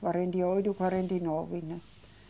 Quarenta e oito ou quarenta e nove, né?